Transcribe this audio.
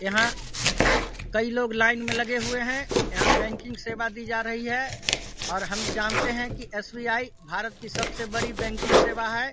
यहाँ कई लोग लाइन में लगे हुए है। यहाँ बैंकिंग सेवा दी जा रही है और हम जानते है की एस.बी.आई. भारत की सबसे बड़ी बैंकिंग सेवा है।